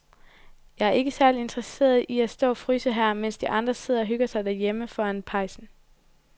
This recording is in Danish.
Jeg er ikke særlig interesseret i at stå og fryse her, mens de andre sidder og hygger sig derhjemme foran pejsen.